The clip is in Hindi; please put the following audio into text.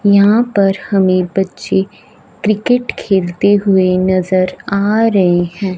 यहां पर हमें बच्चे क्रिकेट खेलते हुए नजर आ रहे हैं।